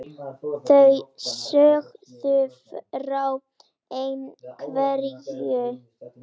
Þær sögðu frá ein- hverju.